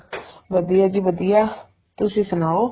ਵਧੀਆ ਜੀ ਵਧੀਆ ਤੁਸੀਂ ਸੁਣਾਉ